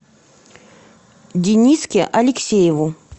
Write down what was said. дениске алексееву